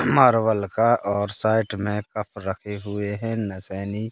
Marvel का और side में कब रखे हुए है नसैनी--